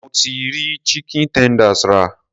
Mo ti rí chicken tenders rà.